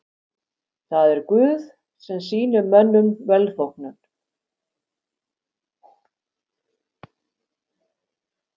Það er Guð sem sýnir mönnum velþóknun.